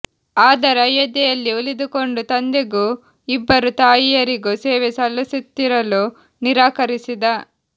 ಆದರೆ ಅಯೋಧ್ಯೆಯಲ್ಲಿ ಉಳಿದುಕೊಂಡು ತಂದೆಗೂ ಇಬ್ಬರು ತಾಯಿಯರಿಗೂ ಸೇವೆ ಸಲ್ಲಿಸುತ್ತಿರಲು ನಿರಾಕರಿಸಿದ